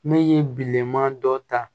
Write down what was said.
Ne ye bilenman dɔ ta